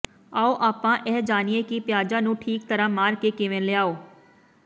ਆਓ ਆਪਾਂ ਇਹ ਜਾਣੀਏ ਕਿ ਪਿਆਜ਼ਾਂ ਨੂੰ ਠੀਕ ਤਰ੍ਹਾਂ ਮਾਰਕੇ ਕਿਵੇਂ ਲਿਆਓ